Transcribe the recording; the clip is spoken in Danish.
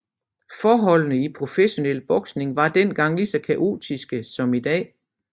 Forholdene i professionel boksning var den gang lige så kaotiske som i dag